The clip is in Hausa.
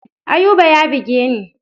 Ayuba ya buge ni.